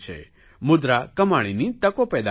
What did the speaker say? મુદ્રા કમાણીની તકો પેદા કરે છે